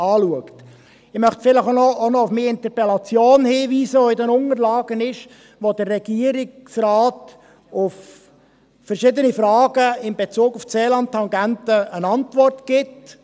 Ich möchte noch auf meine Interpellation hinweisen, die sich in den Unterlagen befindet, wo der Regierungsrat auf verschiedene Fragen in Bezug auf die Seeland-Tangente eine Antwort gibt.